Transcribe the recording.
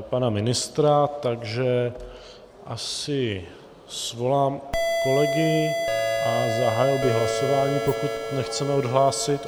pana ministra, takže asi svolám kolegy a zahájil bych hlasování, pokud nechceme odhlásit.